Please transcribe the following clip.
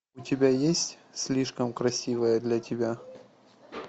у тебя есть слишком красивая для тебя